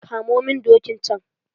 Kamo min dokin can.